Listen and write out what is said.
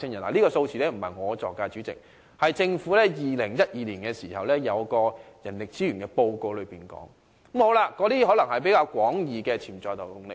主席，這數字並非我捏造的，而是政府在2012年發表的人力資源報告中提到的，它可能是指比較廣義的潛在勞動力。